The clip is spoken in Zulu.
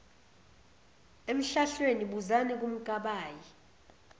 emhlahlweni buzani kumkabayi